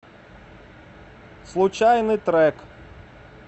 случайный трек